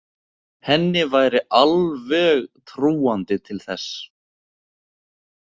Henni væri alveg trúandi til þess.